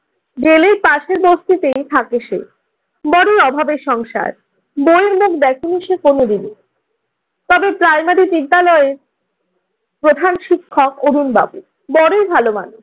জেলের পাশের বস্তিতেই থাকে সে। বড়ই অভাবের সংসার। বইয়ের মুখে দেখেনি সে কোনদিনও। তবে প্রাইমারি বিদ্যালয়ের প্রধান শিক্ষক অরুন বাবু বড়ই ভাল মানুষ।